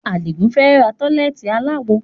Adigun fẹ́ ra tọ́lẹ́ẹ́tì aláwo